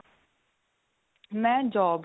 ਮੈਂ job.